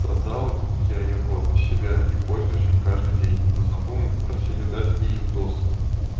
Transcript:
создал я его для себя и пользуюсь им каждый день но знакомые попросили дать и им доступ